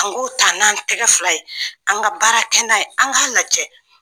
An k'o ta n' an tɛgɛ fila ye, an ka baara kɛ n'a ye, an k'a lajɛ.